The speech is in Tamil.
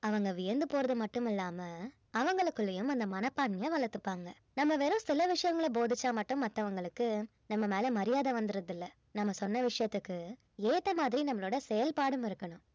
அவங்க வியந்து போறது மட்டும் இல்லாம அவங்களுக்குள்ளயும் அந்த மனப்பான்மைய வளர்த்துப்பாங்க நம்ம வெறும் சில விஷயங்களை போதிச்சா மட்டும் மத்தவங்களுக்கு நம்ம மேல மரியாதை வந்துருவதில்லை நம்ம சொன்ன விஷயத்துக்கு ஏத்த மாதிரி நம்மளோட செயல்பாடும் இருக்கணும்